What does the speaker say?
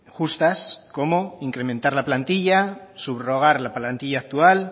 justas como incrementar la plantilla subrogar la plantilla actual